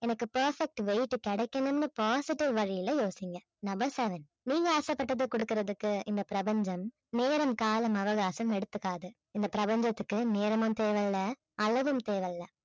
எனக்கு perfect weight கிடைக்கணும்னு positive வழியில் யோசிங்க number seven நீங்க ஆசைப்பட்டதை கொடுக்கிறதுக்கு இந்த பிரபஞ்சம் நேரம் காலம் அவகாசம் எடுத்துக்காது. இந்த பிரபஞ்சத்துக்கு நேரமும் தேவையில்லை அளவும் தேவையில்லை